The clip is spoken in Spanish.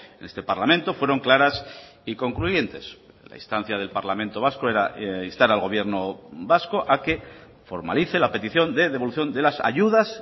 en este parlamento fueron claras y concluyentes la instancia del parlamento vasco era instar al gobierno vasco a que formalice la petición de devolución de las ayudas